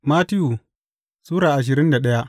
Mattiyu Sura ashirin da daya